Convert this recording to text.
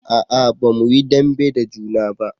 a'a ba mu yi dambe da juna ba